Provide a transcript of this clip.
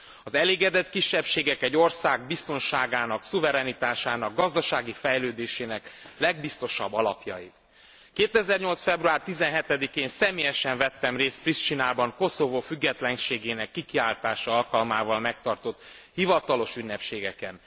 Az elégedett kisebbségek egy ország biztonságának, szuverenitásának, gazdasági fejlődésének legbiztosabb alapjai. 2008. február 17 én személyesen vettem részt Pristinában Koszovó függetlenségének kikiáltása alkalmával megtartott hivatalos ünnepségeken.